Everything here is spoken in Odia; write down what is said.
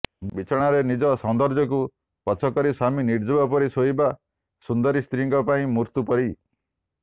ବିଛଣାରେ ନିଜ ସୌନ୍ଦର୍ଯ୍ୟକୁ ପଛ କରି ସ୍ୱାମୀ ନିର୍ଜୀବ ପରି ଶୋଇବା ସୁନ୍ଦରୀ ସ୍ତ୍ରୀ ପାଇଁ ମୃତ୍ୟୁ ପରି